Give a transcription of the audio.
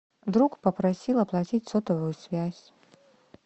друг попросил оплатить сотовую связь